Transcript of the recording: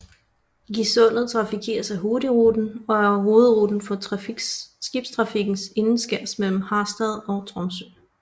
Gisundet trafikeres af Hurtigruten og er hovedruten for skibstrafikken indenskærs mellem Harstad og Tromsø